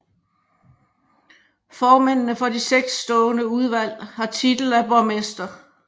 Formændene for de seks stående udvalg har titel af borgmester